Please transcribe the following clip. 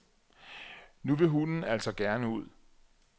Nu vil hunden altså gerne ud.